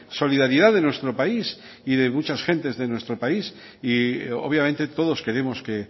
solidaridad de nuestro país y de muchas gentes de nuestro país y obviamente todos queremos que